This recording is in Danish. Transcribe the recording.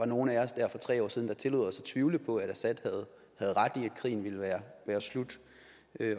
nogle af os dér for tre år siden der tillod os at tvivle på at assad havde ret i at krigen ville være slut